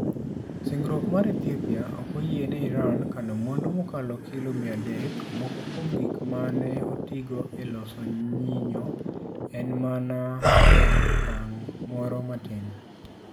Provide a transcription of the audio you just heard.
Singruok mar Ethiopia ok oyiene Iran kano mwandu mokalo kilo 300 moko kuom gik ma ne otigo e loso nyinyo en mana e okang moro matin.